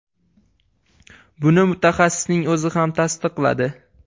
Buni mutaxassisning o‘zi ham tasdiqladi.